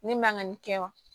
Ne man ka nin kɛ wa